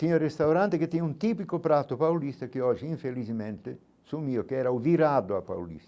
Tinha restaurante que tinha um típico prato paulista que hoje infelizmente sumiu, que era o virado a